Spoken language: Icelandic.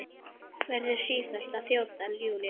Verður sífellt að þjóta, Júlía.